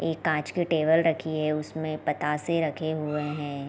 ए कांच की टेबल रखी है उसमे बताशे रखे हुए है।